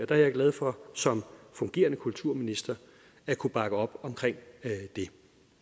der er jeg glad for som fungerende kulturminister at kunne bakke op omkring det